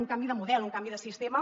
un canvi de model un canvi de sistema